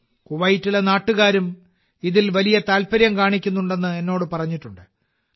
കുവൈറ്റിലെ നാട്ടുകാരും ഇതിൽ വലിയ താൽപര്യം കാണിക്കുന്നുണ്ടെന്ന് എന്നോട് പറഞ്ഞിട്ടുണ്ട്